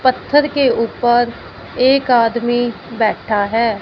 पत्थर के ऊपर एक आदमी बैठा है।